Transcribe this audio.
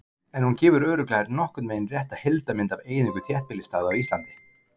en hún gefur örugglega nokkurn veginn rétta heildarmynd af eyðingu þéttbýlisstaða á íslandi